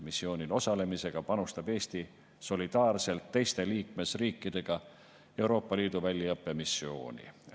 Missioonil osalemisega panustab Eesti solidaarselt teiste liikmesriikidega Euroopa Liidu väljaõppemissiooni.